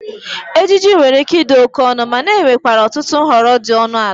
Ejiji nwere ike ịdị oke ọnụ, mana enwerekwa ọtụtụ nhọrọ dị ọnụ ala.